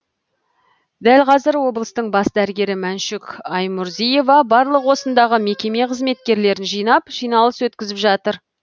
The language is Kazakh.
дәл қазір облыстың бас дәрігері мәншүк аймұрзиева барлық осындағы мекеме қызметкерлерін жинап жиналыс өткізіп жатыр